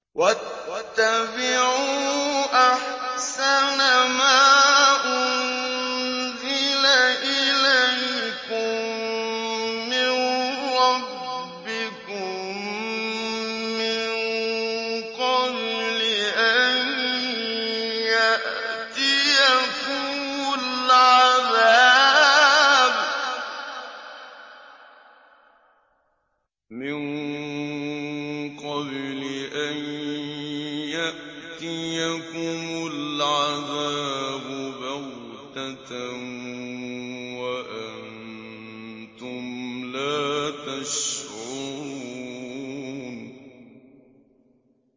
وَاتَّبِعُوا أَحْسَنَ مَا أُنزِلَ إِلَيْكُم مِّن رَّبِّكُم مِّن قَبْلِ أَن يَأْتِيَكُمُ الْعَذَابُ بَغْتَةً وَأَنتُمْ لَا تَشْعُرُونَ